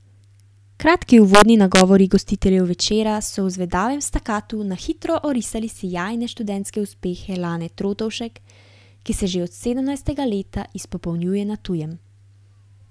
Kratki uvodni nagovori gostiteljev večera so v zvedavem stacatu na hitro orisali sijajne študentske uspehe Lane Trotovšek, ki se že od sedemnajstega leta izpopolnjuje na tujem.